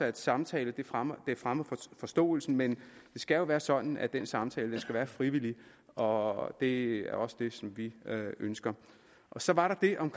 at samtale fremmer fremmer forståelsen men det skal jo være sådan at den samtale skal være frivillig og det er også det som vi ønsker så var der det om